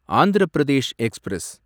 Andhra Pradesh express